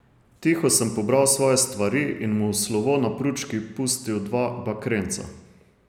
Tiho sem pobral svoje stvari in mu v slovo na pručki pustil dva bakrenca.